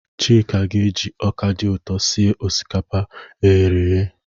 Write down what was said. Chika ga-eji ọka dị ụtọ sie osikapa eghereghe.